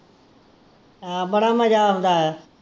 ਹਾਂ ਬੜਾ ਮਜਾ ਆਉਂਦਾ ਐ